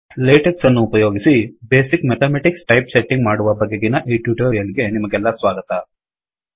ಲೇಟೆಕ್ಸನ್ನು ಉಪಯೋಗಿಸಿ basic mathematics type setting ಮಾಡುವ ಬಗೆಗಿನ ಈ ಟ್ಯುಟೋರಿಯಲ್ ಗೆ ನಿಮಗೆಲ್ಲಾ ಸ್ವಾಗತ